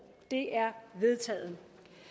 det er vedtaget